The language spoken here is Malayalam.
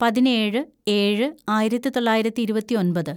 പതിനേഴ് ഏഴ് ആയിരത്തിതൊള്ളായിരത്തി ഇരുപത്തിയൊമ്പത്‌